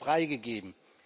Euro freigegeben.